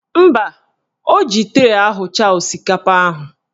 Mba, o ji tray ahụcha osikapa ahụ